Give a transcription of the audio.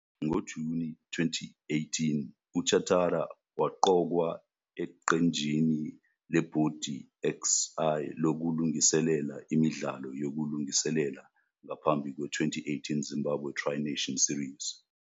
NgoJuni 2018,uChatara waqokwa eqenjini leBhodi XI lokulungiselela imidlalo yokulungiselela ngaphambi kwe- 2018 Zimbabwe Tri-Nation Series.